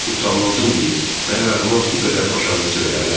Utanmazın biri, məgər adama bu qədər baş ağrısı verərlər?